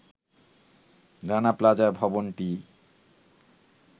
Rana plaza ভবনটি